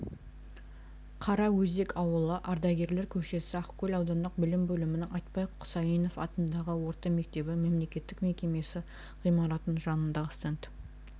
қара-өзек ауылы ардагерлер көшесі ақкөл аудандық білім бөлімінің айтпай құсайынов атындағы орта мектебі мемлекеттік мекемесі ғимаратының жанындағы стенд